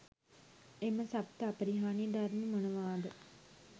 එම සප්ත අපරිහානීය ධර්ම මොනවාද?